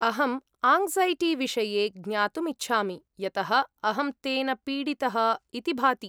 अहं आङ्क्सैटिविषये ज्ञातुम् इच्छामि, यतः अहं तेन पीडितः इति भाति।